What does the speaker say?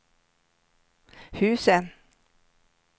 husen